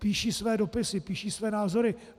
Píší své dopisy, píší své názory.